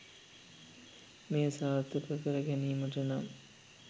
මෙය සාර්ථක කර ගැනීමට නම්